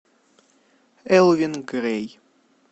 элвин грей